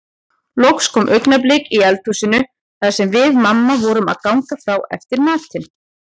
Loks kom augnablik í eldhúsinu þar sem við mamma vorum að ganga frá eftir matinn.